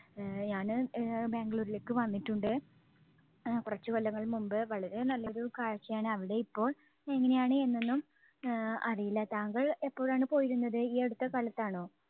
ആഹ് ഞാന് ആഹ് ബാംഗ്ലൂരിലേക്ക് വന്നിട്ടുണ്ട്. അഹ് കുറച്ച് കൊല്ലങ്ങൾക്ക് മുൻപ്. വളരെ നല്ലൊരു കാഴ്ചയാണ് അവിടെ ഇപ്പോൾ എങ്ങനെയാണ് എന്നൊന്നും ആഹ് അറിയില്ല. താങ്കൾ എപ്പോഴാണ് പോയിരുന്നത്? ഈ അടുത്ത കാലത്താണോ?